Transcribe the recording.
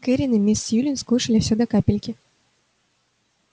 кэррин и мисс сьюлин скушали всё до капельки